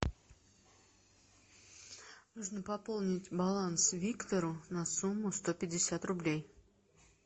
нужно пополнить баланс виктору на сумму сто пятьдесят рублей